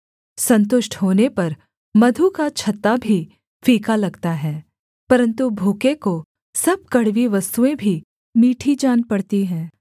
सन्तुष्ट होने पर मधु का छत्ता भी फीका लगता है परन्तु भूखे को सब कड़वी वस्तुएँ भी मीठी जान पड़ती हैं